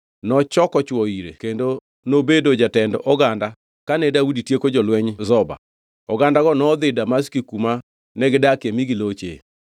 Nochoko chwo ire kendo nobedo jatend oganda kane Daudi tieko jolweny Zoba. Ogandago nodhi Damaski kuma negidakie mi giloche.